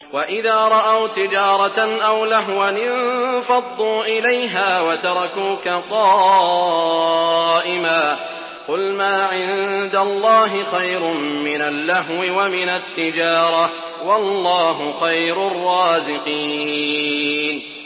وَإِذَا رَأَوْا تِجَارَةً أَوْ لَهْوًا انفَضُّوا إِلَيْهَا وَتَرَكُوكَ قَائِمًا ۚ قُلْ مَا عِندَ اللَّهِ خَيْرٌ مِّنَ اللَّهْوِ وَمِنَ التِّجَارَةِ ۚ وَاللَّهُ خَيْرُ الرَّازِقِينَ